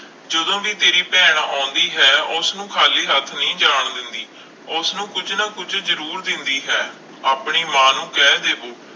ਜਦੋਂ ਵੀ ਤੇਰੀ ਭੈਣ ਆਉਂਦੀ ਹੈ ਉਸਨੂੰ ਖਾਲੀ ਹੱਥ ਨਹੀਂ ਜਾਣ ਦਿੰਦੀ, ਉਸਨੂੰ ਕੁੱਝ ਨਾ ਕੁੱਝ ਜ਼ਰੂਰ ਦਿੰਦੀ ਹੈ ਆਪਣੀ ਮਾਂ ਨੂੰ ਕਹਿ ਦਿਓ